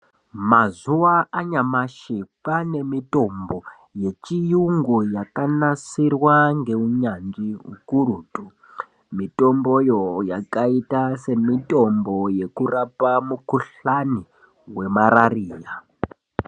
Mazuwa anyamashi kwane mitombo yechiyungu yakanasirwa ngeunyanzvi ukurutu. Mitomboyo yakaita semitombo yekurapa mukuhlani wemarariya.